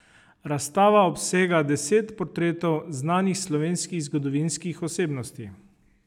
Razstava obsega deset portretov znanih slovenskih zgodovinskih osebnosti.